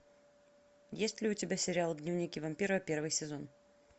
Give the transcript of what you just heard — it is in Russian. есть ли у тебя сериал дневники вампира первый сезон